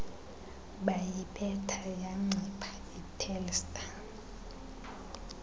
bayibetha yancipha itelstar